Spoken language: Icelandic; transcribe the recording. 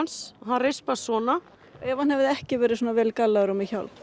rispaðist svona ef hann hefði ekki verið svona vel gallaður og með hjálm